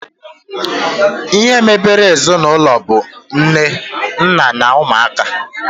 Ihe mebere ezinaụlọ bụ nne, nna na ụmụaka